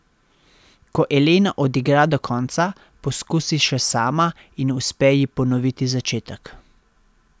Ko Elena odigra do konca, poskusi še sama in uspe ji ponoviti začetek.